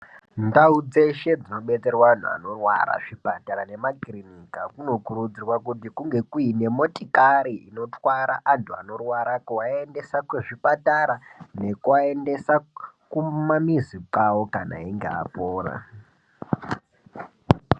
Ndau dzeshe dzinobetserwa antu anorwara zvipatara nemakirinika kunokurudzirwa kuti kunge kuine motikari inotwara antu anorwara kuaendesa kuzvipatara, nekuaendesa kumamizi kwavo kana einga apora.